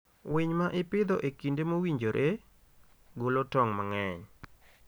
Winy ma ipidho e kinde mowinjore, golo tong' mang'eny.